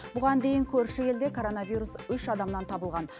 бұған дейін көрші елде коронавирус үш адамнан табылған